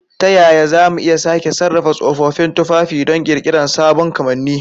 Ta yaya za mu iya sake sarrafa tsofaffin tufafi don ƙirƙirar sabon kamanni?